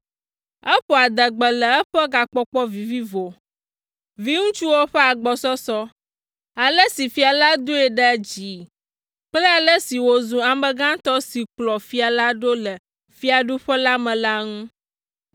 Eƒo adegbe le eƒe gakpɔkpɔ vivivo, viŋutsuwo ƒe agbɔsɔsɔ, ale si fia la doe ɖe dzii kple ale si wòzu ame gãtɔ si kplɔ fia la ɖo le fiaɖuƒe la me la ŋu.